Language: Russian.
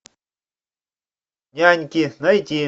няньки найти